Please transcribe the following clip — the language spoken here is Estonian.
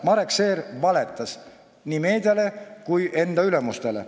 Marek Seer valetas nii meediale kui enda ülemustele.